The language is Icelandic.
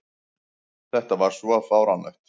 Þetta var svo fáránlegt!